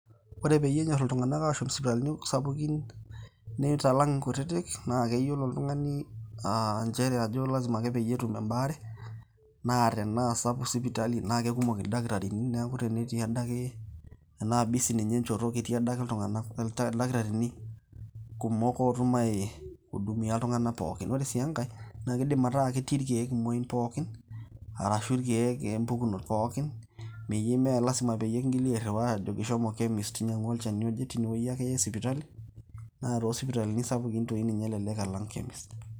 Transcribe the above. ore peyiee enyor iltunganak aashom isipitalini sapukin, neitalang inkutitik naa keyiolo olrung'ani ajo lazima peyiee etum ebaare. naa tenaa sapuk sipitali naa kekumok ildakitarini. neeku tenetii adake, tenaa busy ninye enchoto ketiia ake ildakitarini oidim ai hudumia iltunganak pookin. ore sii enkae naa kidim ataa ketii irkeek pookin arashu irkeek impukunot pookin,.meyieu paa lasima pee kintoki airiwaa [chemist aajoki inyiangu olchani oje.